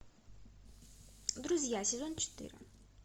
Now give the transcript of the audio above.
друзья сезон четыре